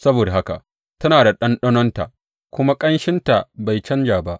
Saboda haka tana da ɗanɗanonta, kuma ƙanshinta bai canja ba.